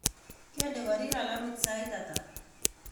Kende korir alamit saai ata